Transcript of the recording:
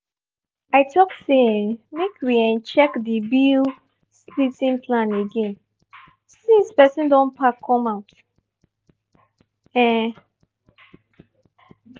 i talk say um make we um check the bill-splitting plan again since person don pack come out. um